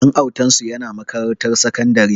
Ɗan autansu yana makarantar sakandare